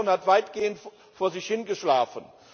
Die Kommission hat weitgehend vor sich hin geschlafen.